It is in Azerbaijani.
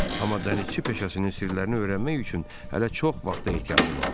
Amma dənizçi peşəsinin sirlərini öyrənmək üçün hələ çox vaxta ehtiyacı vardı.